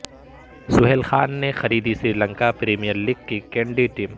سہیل خان نے خریدی Sri Lanka premier league کی کینڈی ٹیم